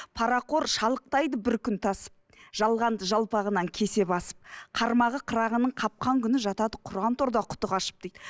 парақор шалықтайды бір күн тасып жалғанды жалпағынан кесе басып қармағы қырағының қапқан күні жатады құран торда құты қашып дейді